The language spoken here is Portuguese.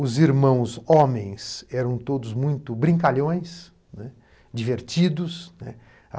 Os irmãos homens eram todos muito brincalhões, né, divertidos, né.